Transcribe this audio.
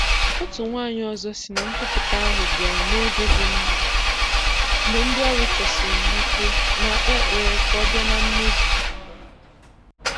Otu nwaanyị ọzọ sị na nkwupụta ahụ bịara n'oge dị mma mgbe ndị ọrụ chọsiri ya ike ma kpee ekpere ka ọ bịa na mmezu.